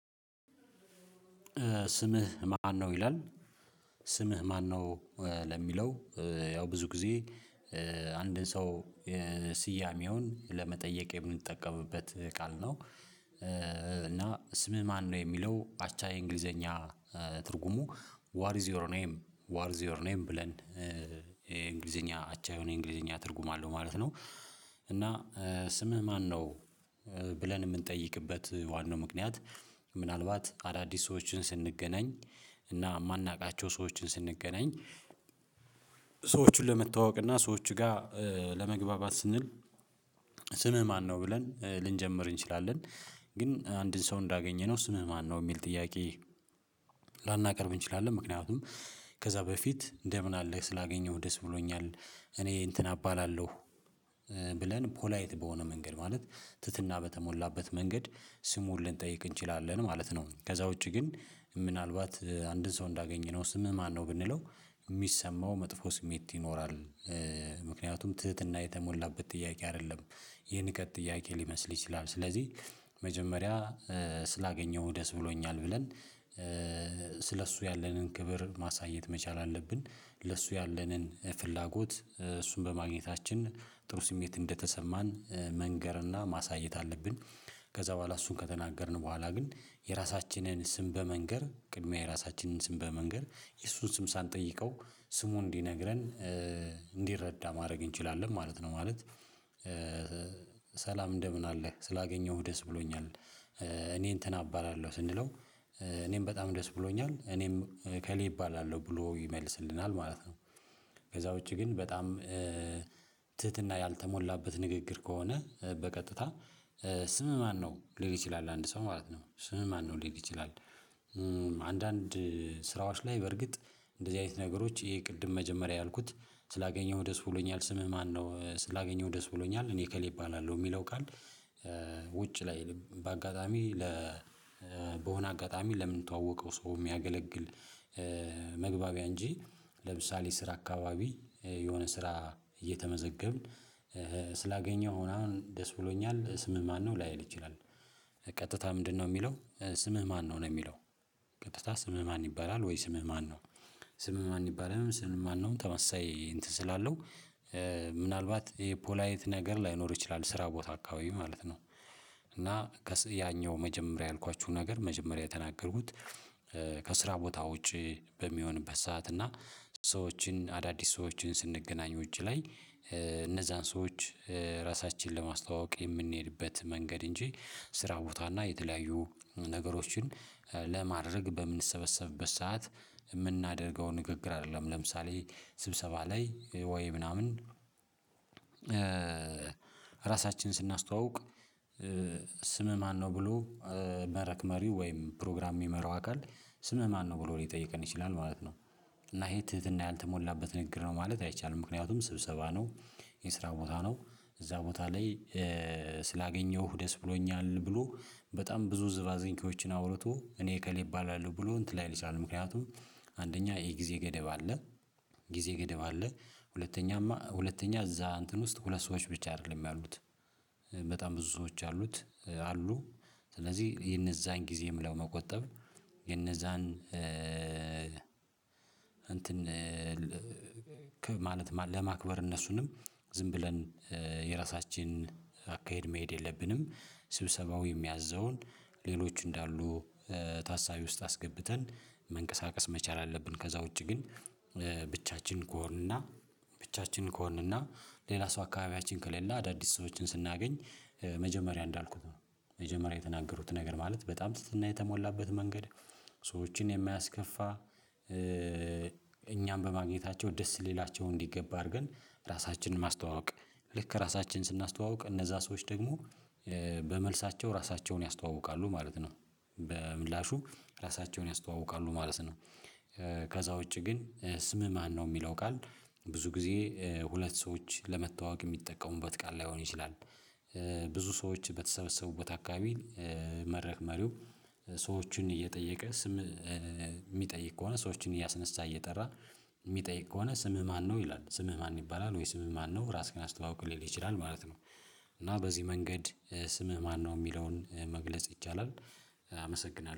ስምህ ማነው ይላል ስምህ ማነው? ለሚለው ያው ብዙ ጊዜ አንድን ሰው ስያሜውን ለመጠየቅ የምንጠቀምበት ቃል ነው። እና ስምህ ማነው የሚለው አቻ የእንግሊዘኛ ትርጉሙ ዋር ኢዝ ዩር ኔም ዋር ኢዝ ዩር ኔም ብለን የእንግሊዘኛ አቻ የሆነ እንግሊዘኛ ትርጉም አለው ማለት ነው። እና ስምህ ማነው ብለን የምንጠይቅበት ዋናው ምክንያት ምናልባት አዳዲስ ሰዎችን ስንገናኝ እና የማናውቃቸው ሰዎችን ስንገናኝ ሰዎችን ለመተዋወቅና ሰዎች ጋር ለመግባባት ስንል ስምህ ማነው ብለን ልንጀምር እንችላለን። ግን አንድን ሰው እንዳገኘነው ስምም ማነው የሚል ጥያቄ። ላናቀርብ እንችላለን ምክንያቱም ከዛ በፊት እንደምን አለ ስላገኘሁ ደስ ብሎኛል እኔ እንትና አባላለሁ። ብለን ፖላይት በሆነ መንገድ ማለት ትህትና በተሞላበት መንገድ ስሙን ልንጠይቅ እንችላለን ማለት ነው። ከዛ ውጪ ግን ምናልባት አንድን ሰው እንዳገኘነው ስምህ ማነው ብንለው የሚሰማው መጥፎ ስሜት ይኖራል። ምክንያቱም ትህትና የተሞላበት ጥያቄ አይደለም የንቀት ጥያቄ ሊመስል ይችላል። ስለዚህ መጀመሪያ ስላገኘሁ ደስ ብሎኛል ብለን ስለ እሱ ያለንን ክብር ማሳየት መቻል አለብን ለሱ ያለንን ፍላጎት እሱን በማግኘታችን ጥሩ ስሜት እንደተሰማን መንገርና ማሳየት አለብን። ከዛ በኋላ እሱን ከተናገርን በኋላ ግን የራሳችንን ስም በመንገር ቅድሚያ የራሳችንን ስም በመንገር የሱን ስም ሳንጠይቀው ስሙን እንዲነግረን እንዲረዳ ማድረግ እንችላለን ማለት ነው። ማለት ሰላም እንደምን አለ ስላገኘሁህ ደስ ብሎኛል። እኔ እንትን አባላለሁ ስንለው እኔም በጣም ደስ ብሎኛል እኔም እከሌ እባላለሁ ብሎ ይመልስልናል ማለት ነው። ከዛ ውጪ ግን በጣም ትህትና ያልተሞላበት ንግግር ከሆነ በቀጥታ ስምህ ማነው ሊል ይችላል አንድ ሰው ማለት ነው ስምህ ማነው ሊል ይችላል። አንዳንድ ስራዎች ላይ በርግጥ እንደዚህ አይነት ነገሮች የግድ መጀመሪያ ያልኩት ስላገኘሁ ደስ ብሎኛል ስምህ ማነው ስላገኘሁ ደስ ብሎኛል እኔ እከሌ እባላለሁ የሚለው ቃል። ውጭ ላይ በአጋጣሚ ለ በሆነ አጋጣሚ ለምን ተዋወቀው ሰው የሚያገለግል። መግባቢያ እንጂ ለምሳሌ ስራ አካባቢ የሆነ ስራ እየተመዘገብን ስላገኘሁ ምናምን ደስ ብሎኛል ስምህ ማነው ላይል ይችላል። ቀጥታ ምንድነው የሚለው ስምህ ማነው ነው። የሚለው ቀጥታ ስምህ ማን ይባላል ወይ ስምህ ማን ነው? ስምህ ማን ይባላል ወይም ስምህ ማን ነው? ተመሳሳይ እንትን ስላለው ምናልባት ይሄ ፖላይት ነገር ላይኖር ይችላል ስራ ቦታ አካባቢ ማለት ነው። እና ያኛው መጀመሪያ ያልኳችሁ ነገር መጀመሪያ የተናገሩት ከስራ ቦታ ውጪ በሚሆንበት ሰዓት እና ሰዎችን አዳዲስ ሰዎችን ስንገናኙ ውጭ ላይ እነዛን ሰዎች ራሳችንን ለማስተዋወቅ የምንሄድበት መንገድ እንጂ ስራ ቦታና የተለያዩ ነገሮችን ለማድረግ በምንሰበሰብበት ሰዓት የምናደርገው ንግግር አይደለም ለምሳሌ ስብሰባ ላይ ወይ ምናምን ራሳችንን ስናስተዋውቅ ስምህ ማነው ብሎ መድረክ መሪው ወይም ፕሮግራም የሚመራው አካል ስምህ ማነው ብሎ ሊጠይቀን ይችላል ማለት ነው። እና ይሄ ትህትና ያልተሞላበት ንግግር ነው ማለት አይቻልም ምክንያቱም ስብሰባ ነው። የስራ ቦታ ነው። እዛ ቦታ ላይ ስላገኘሁህ ደስ ብሎኛል ብሎ በጣም ብዙ ዝባዚንኪዎችን አውርቶ እኔ እከሌ እባላለሁ ብሎ እንትን ላይል ይችላል ምክንያቱም አንደኛ የጊዜ ገደብ አለ ጊዜ ገደብ አለ ሁለተኛማ ሁለተኛ እዛ እንትን ውስጥ ሁለት ሰዎች ብቻ አይደለም ያሉት በጣም ብዙ ሰዎች አሉት አሉ። ስለዚህ የነዛን ጊዜ ለመቆጠብ የነዛን እንትን ክብ ማለት ለማክበር እነሱንም ዝም ብለን የራሳችን አካሄድ መሄድ የለብንም ስብሰባው የሚያዘውን ሌሎች እንዳሉ ታሳቢ ውስጥ አስገብተን መንቀሳቀስ መቻል አለብን። ከዛ ውጪ ግን ብቻችን ከሆንንና ብቻችን ከሆንንና ሌላ ሰው አካባቢያችን ከሌለ አዳዲስ ሰዎችን ስናገኝ መጀመሪያ እንዳልኩት ነው። መጀመሪያ የተናገሩት ነገር ማለት በጣም ትህትና የተሞላበት መንገድ ሰዎችን የሚያስከፋ እኛም በማግኘታቸው ደስ ሊላቸው እንዲገባ አድርገን ራሳችንን ማስተዋወቅ ልክ ራሳችንን ስናስተዋውቅ እነዛ ሰዎች ደግሞ በመልሳቸው ራሳቸውን ያስተዋውቃሉ ማለት ነው በምላሹ ራሳቸውን ያስተዋውቃሉ ማለት ነው። ከዛ ውጪ ግን ስምህ ማነው የሚለው ቃል ብዙ ጊዜ ሁለት ሰዎች ለመተዋወቅ የሚጠቀሙበት ቃል ላይሆን ይችላል። ብዙ ሰዎች በተሰበሰቡበት አካባቢ መድረክ መሪው ሰዎችን እየጠየቀ ስም የሚጠይቅ ከሆነ ሰዎችን እያስነሳ እየጠራ የሚጠይቅ ከሆነ ስምህ ማነው ይላል ስምህ ማን ይባላል ወይ ስምህ ማነው ራስህን አስተዋውቅ ሊል ይችላል ማለት ነው። እና በዚህ መንገድ ስምህ ማነው የሚለውን መግለጽ ይቻላል አመሰግናለሁ